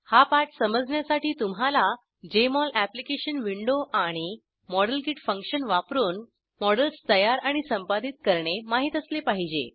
हा पाठ समजण्यासाठी तुम्हाला जेएमओल अॅप्लिकेशन विंडो आणि मॉडेलकिट फंक्शन वापरून मॉडेल्स तयार आणि संपादित करणे माहित असले पाहिजे